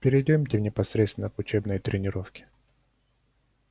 перейдёмте непосредственно к учебной тренировке